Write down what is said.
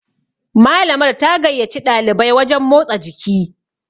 Malamar ta gaiyaci ɗalibai wajen motsa jiki